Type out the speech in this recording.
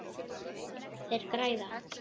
Þeir græða.